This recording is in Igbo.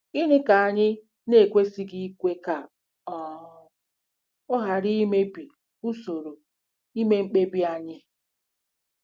Gịnị ka anyị na-ekwesịghị ikwe ka ọ um ghara imebi usoro ime mkpebi anyị?